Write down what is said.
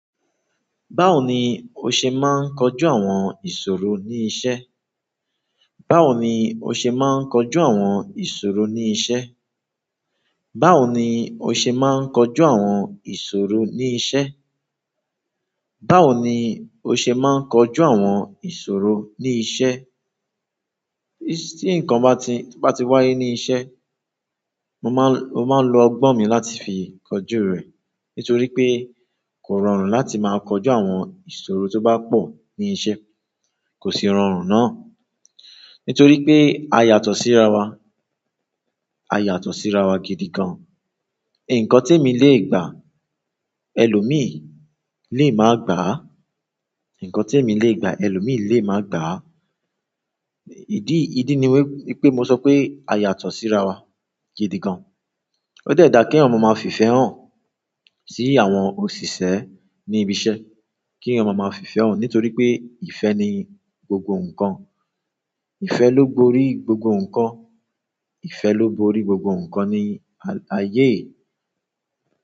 Báwo ni o ṣe máa ń kojú àwọn ìṣòro ní iṣẹ́? Báwo ni o ṣe máa ń kojú àwọn ìṣòro ní iṣẹ́? Báwo ni o ṣe máa ń kojú àwọn ìṣòro ní iṣẹ́? Báwo ni o ṣe máa ń kojú àwọn ìṣòro ní iṣẹ́? Ti nkan ba ti wáyé ni iṣẹ́, mo ma n lo ogbon mi láti fi koju re. Nítorí pé kò rọrùn láti máa kojú àwọn ìṣòro tó bá pọ̀ ní iṣẹ́, kò sì rọrùn náà. Nítorí pé a yàtọ̀ sí ara wa, a yàtọ̀ sí ara wa gidi gan. Ǹǹkan tí èmi lè gbà, ẹlòmíì lé máa gbà á. Ǹǹkan tí èmi lè gbà, ẹlòmíì lé máa gbà. Ìdí, ìdí ni wípé mo sọ pé a yàtọ̀ sí ara wa gidi gan. Ó dẹ́da kí eyan ma máa fi ìfẹ́ hàn sí àwọn òṣìṣẹ́ ní ibi iṣẹ́, kí eyan ma máa fi ìfẹ́ hàn. Nítorí pé ìfẹ́ ni gbogbo nǹkan, ìfẹ́ ló borí gbogbo nǹkan, ìfẹ́ ló borí gbogbo nǹkan ní ayé.